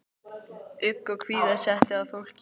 Ugg og kvíða setti að fólki.